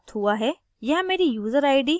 मुझे निम्न mail प्राप्त हुआ है